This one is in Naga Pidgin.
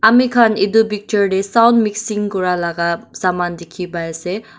amikhan edu picture tae sound mixing kurala saman dikhipaiase.